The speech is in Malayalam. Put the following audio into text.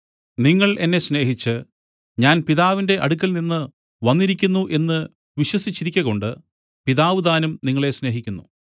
നിങ്ങൾ എന്നെ സ്നേഹിച്ച് ഞാൻ പിതാവിന്റെ അടുക്കൽനിന്ന് വന്നിരിക്കുന്നു എന്നു വിശ്വസിച്ചിരിക്കകൊണ്ട് പിതാവുതാനും നിങ്ങളെ സ്നേഹിക്കുന്നു